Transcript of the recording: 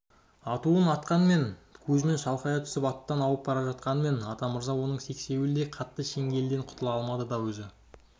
атуын атқанмен кузьмин шалқая түсіп аттан ауып бара жатқанмен атамырза оның сексеуілдей қатты шеңгелінен құтыла алмады да өзі